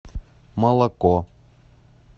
молоко